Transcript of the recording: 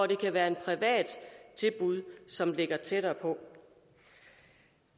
der kan være et privat tilbud som ligger tættere på